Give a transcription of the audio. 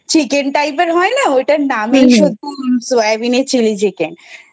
Chicken Type এর হয় না ঐটার নামই সয়াবিনের Chilli Chicken